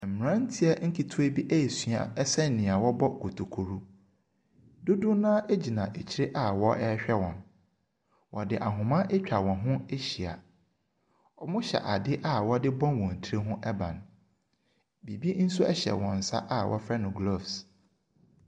Mmranteɛ nketewa bi resua sɛnnea wɔbɔ kuturuku no. Dodoɔ no ara gyina akyire na wɔrehwɛ wɔn. Wɔde ahoma atwa wɔn ho ahyia, Wɔhyɛ adeɛ a wɔde bɔ wɔn tiri ho ban. Biribi nso hyɛ wɔn nsa a wɔfrɛ no gloves.